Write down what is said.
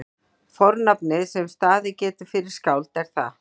fornafnið sem staðið getur fyrir skáld er það